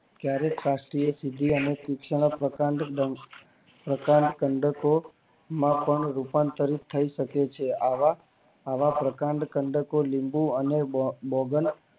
ક્યારે સાક્ષી ની પૂર્થવી ની માં પ્રકાંડો માં પણ રૂપાંતરિત થાય શકે છે આવા આવા પ્રકાંડ તમને કોઈ